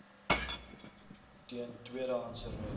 teen tweedehandse rook